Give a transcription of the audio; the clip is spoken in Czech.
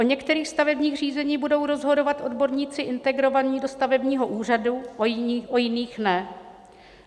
O některých stavebních řízeních budou rozhodovat odborníci integrovaní do stavebního úřadu, o jiných ne.